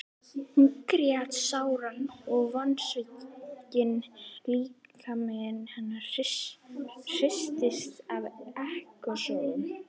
Hún grét sáran og vonsvikinn líkami hennar hristist af ekkasogum.